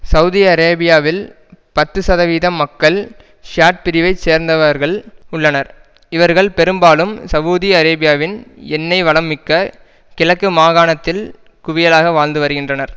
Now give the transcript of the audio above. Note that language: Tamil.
சவூதி அரேபியாவில் பத்து சதவீதம் மக்கள் ஷியாட் பிரிவை சேர்ந்தவர்கள் உள்ளனர் இவர்கள் பெரும்பாலும் சவூதி அரேபியாவின் எண்ணெய் வளம் மிக்க கிழக்கு மாகாணத்தில் குவியலாக வாழ்ந்து வருகின்றனர்